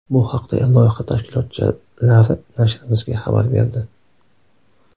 Bu haqda loyiha tashkilotchilari nashrimizga xabar berdi.